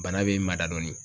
Bana be mada dɔɔni